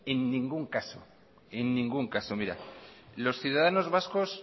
en ningún caso mira los ciudadanos vascos